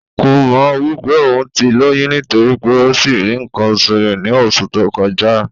Kò mọ̀ wí pé òún ti lóyún nítorí pé ó sì rí ǹǹkan osù rẹ ní osù tó kọjá